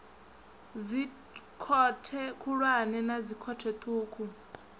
dzikhothe khulwane na dzikhothe ṱhukhu